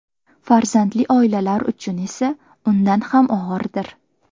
Farzandli oilalar uchun esa undan ham og‘irdir.